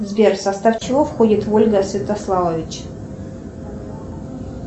сбер в состав чего входит вольга святославович